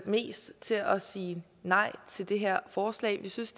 mest til at sige nej til det her forslag vi synes